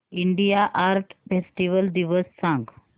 India art festival दिवस सांग